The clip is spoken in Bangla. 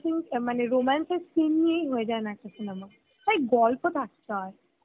মানে romance এর scene নিয়েই নাকি হয়েযায় cinema, ভাই গল্প থাকতে হয়